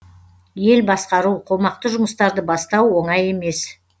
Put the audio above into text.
ел басқару қомақты жұмыстарды бастау оңай емес